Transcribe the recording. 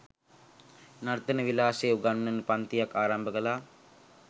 නර්තන විලාශය උගන්වන පංතියක් ආරම්භ කළා